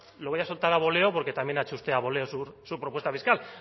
lo voy a soltar a voleo porque también ha hecho usted a voleo su propuesta fiscal